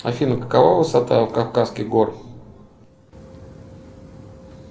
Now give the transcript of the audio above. афина какова высота кавказских гор